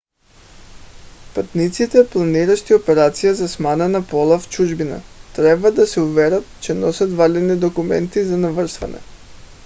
пътниците планиращи операция за смяна на пола в чужбина трябва да се уверят че носят валидни документи за навръщане